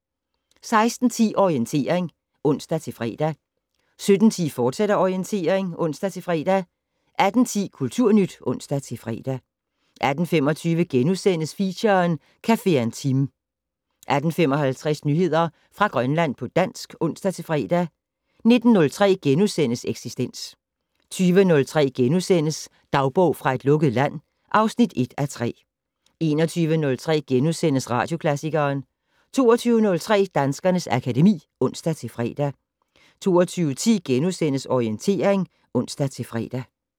16:10: Orientering (ons-fre) 17:10: Orientering, fortsat (ons-fre) 18:10: Kulturnyt (ons-fre) 18:25: Feature: Cafe Intime * 18:55: Nyheder fra Grønland på dansk (ons-fre) 19:03: Eksistens * 20:03: Dagbog fra et lukket land (1:3)* 21:03: Radioklassikeren * 22:03: Danskernes akademi (ons-fre) 22:10: Orientering *(ons-fre)